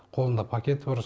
қолында пакеті бар